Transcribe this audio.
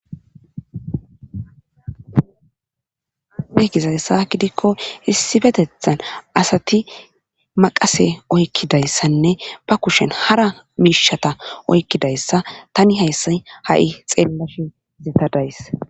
nekizayssa gidikko issifetethan asati maqase oykkidayssanne ba kushen hara miishata oykkidayssa tani hayssay ha7i xeellashi izetadays